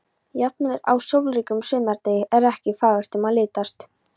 Jafnvel á sólríkum sumardegi er ekki fagurt um að litast.